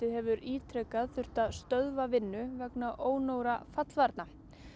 hefur ítrekað þurft að stöðva vinnu vegna ónógra